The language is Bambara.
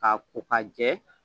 K'a ko k'a jɛ